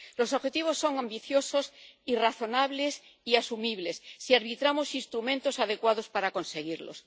Los objetivos son ambiciosos y razonables, y asumibles si arbitramos instrumentos adecuados para conseguirlos.